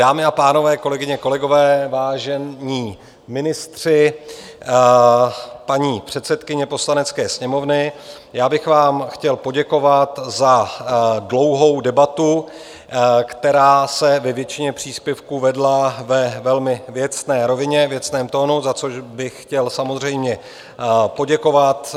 Dámy a pánové, kolegyně, kolegové, vážení ministři, paní předsedkyně Poslanecké sněmovny, já bych vám chtěl poděkovat za dlouhou debatu, která se ve většině příspěvků vedla ve velmi věcné rovině, věcném tónu, za což bych chtěl samozřejmě poděkovat.